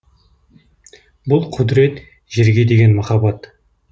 бұл құдірет жерге деген махаббат